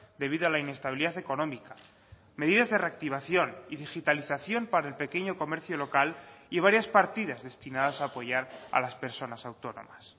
debido a la inestabilidad económica medidas de reactivación y digitalización para el pequeño comercio local y varias partidas destinadas a apoyar a las personas autónomas